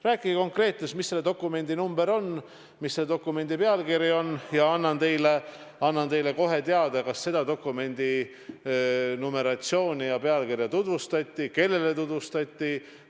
Rääkige konkreetselt, mis selle dokumendi number on, mis selle dokumendi pealkiri on, ja annan teile kohe teada, kas selle dokumendi numeratsiooni ja pealkirja tutvustati, kellele tutvustati.